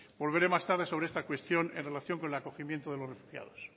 volveré más tarde sobre esta cuestión en relación con el acogimiento de los refugiados